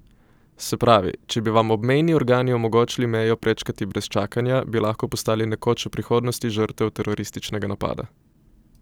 Se pravi, če bi vam obmejni organi omogočili mejo prečkati brez čakanja, bi lahko postali nekoč v prihodnosti žrtev terorističnega napada!